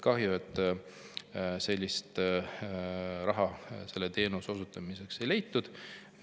Kahju, et sellist raha selle teenuse osutamiseks ei leitud.